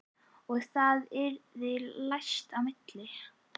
Og það yrði læst á milli.